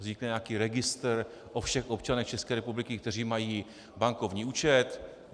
Vznikne nějaký registr o všech občanech České republiky, kteří mají bankovní účet.